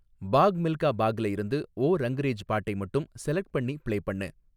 பாக் மில்கா பாக்ல இருந்து ஓ ரங்ரேஜ் பாட்டை மட்டும் செலக்ட் பண்ணி பிளே பண்ணு